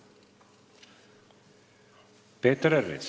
Peeter Ernits.